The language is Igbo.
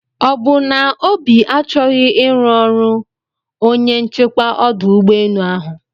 ọbụ na obi achọghị iru ọrụ onye nchekwa ọdụ ụgbọ enu ahụ?